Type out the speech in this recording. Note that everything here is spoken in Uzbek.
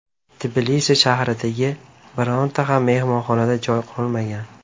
Tbilisi shahridagi bironta ham mehmonxonada joy qolmagan.